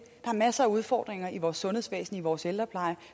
er masser af udfordringer i vores sundhedsvæsen i vores ældrepleje